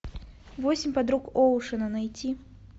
восемь подруг оушена найти